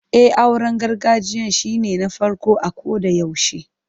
E, auren gargajiyan shine na farko a kodayaushe.